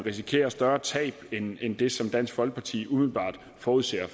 risikerer større tab end end det som dansk folkeparti umiddelbart forudser